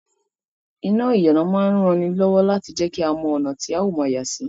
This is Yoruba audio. Iná ìyànà máa rán ni lọ́wọ́ láti jẹ́kí a mọ́ ọ̀nà tí ó ma yàsí